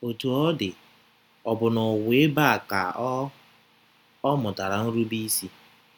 Otú ọ dị, ọ bụ n’ụwa ebe a ka ọ “ ọ “ mụtara nrubeisi.